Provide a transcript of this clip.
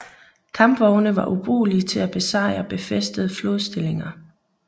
Kampvogne var ubrugelige til at besejre befæstede flodstillinger